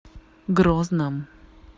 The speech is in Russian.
грозном